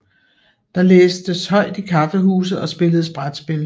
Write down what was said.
Der læstes højt i kaffehuse og spilledes brætspil